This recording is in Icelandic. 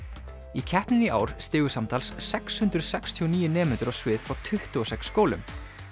í keppninni í ár stigu samtals sex hundruð sextíu og níu nemendur á svið frá tuttugu og sex skólum